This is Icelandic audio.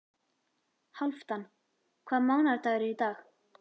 Hálfdan, hvaða mánaðardagur er í dag?